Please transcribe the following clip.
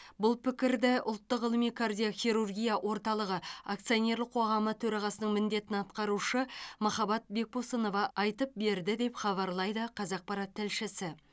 бұл пікірді ұлттық ғылыми кардиохирургия орталығы акционерлік қоғамы төрағасының міндетін атқарушы махаббат бекбосынова айтып берді деп хабарлайды қазақпарат тілшісі